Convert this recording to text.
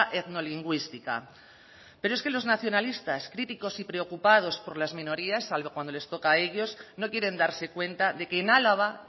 etnolingüística pero es que los nacionalistas críticos y preocupados por las minorías salvo cuando les toca a ellos no quieren darse cuenta de que en álava